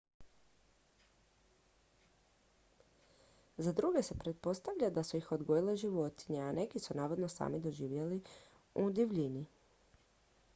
za druge se pretpostavlja da su ih odgojile životinje a neki su navodno sami živjeli u divljini